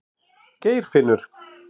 Geirfinnur